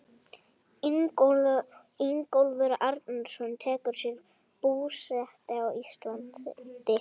Ingólfur Arnarson tekur sér búsetu á Íslandi.